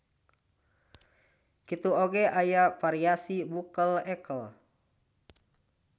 Kitu oge aya variasi buckle ekle.